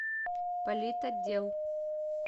политотдел